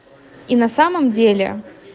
и на самом деле